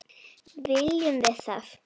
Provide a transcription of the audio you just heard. Viljum við það?